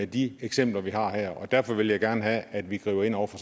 de eksempler vi har her og derfor vil jeg gerne have at vi griber ind over for